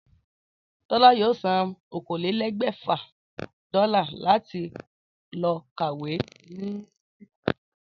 Tólá yóò san okòólélé̩gbè̩fà dó́là láti lo̩ kàwé ní Àmé̩ríkà